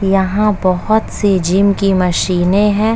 यहाँ बोहोत से जिम की मशीनें हैं।